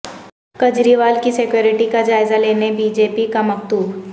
کجریوال کی سکیوریٹی کی جائزہ لینے بی جے پی کا مکتوب